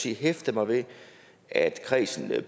hæftet mig ved at kredsen